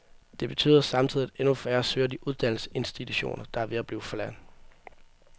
Det betyder samtidig, at endnu færre søger de uddannelsesinstitutioner, der er ved at blive forladt.